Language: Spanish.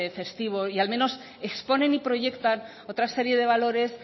festivo y al menos exponen y proyectan otra serie de valores